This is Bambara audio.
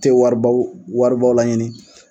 tɛ waribaw waribaw laɲini.